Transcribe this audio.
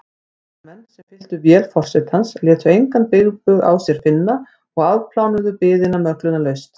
Ferðamenn, sem fylltu vél forsetans, létu engan bilbug á sér finna og afplánuðu biðina möglunarlaust.